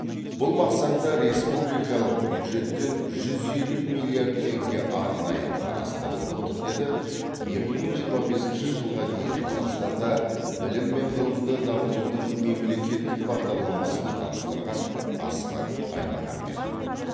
бұл мақсатта республикалық бюджеттен жүз елу миллиард теңге арнайы қарастырылып отыр деді екі мың жиырма бесінші жылға дейін қазақстанда білім мен ғылымды дамытудың мемлекеттік бағдарламасын таныстырған асхат аймағамбетов